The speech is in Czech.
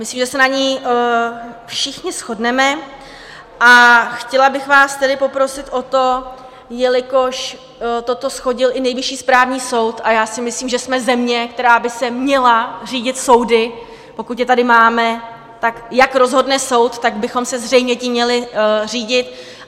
Myslím, že se na ní všichni shodneme, a chtěla bych vás tedy poprosit o to, jelikož toto shodil i Nejvyšší správní soud, a já si myslím, že jsme země, která by se měla řídit soudy, pokud je tady máme, tak jak rozhodne soud, tak bychom se zřejmě tím měli řídit.